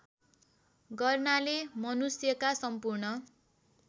गर्नाले मनुष्यका सम्पूर्ण